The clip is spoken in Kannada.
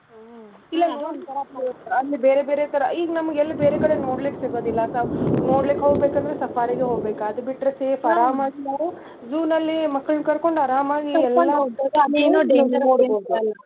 ಹ್ಮ್ ಇಲ್ಲ ಅಲ್ಲಿ ಬೇರೆ ಬೇರೆ ತರಾ ಈಗ ನಮ್ಗೆಲ್ಲಿ ಬೇರೆ ಕಡೆ ನೋಡ್ಲಿಕ್ಕೆ ಸಿಗದಿಲ್ಲಾ ನೋಡ್ಲಿಕ್ಕ್ ಹೋಗ್ಬೇಕಂದ್ರು safari ಗೆ ಹೋಗ್ಬೇಕ ಅದ್ಬಿಟ್ರ್ ಸುಮ್ಮ್ ಆರಾಮ zoo ನಲ್ಲಿ ಮಕ್ಕಳ್ನ ಕರ್ಕೊಂಡ್ ಆರಾಮಾಗಿ .